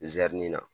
Zɛrɛnin na